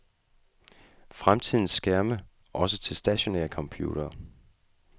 Fremtidens skærme, også til stationære computere.